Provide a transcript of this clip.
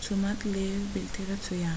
תשומת לב בלתי רצויה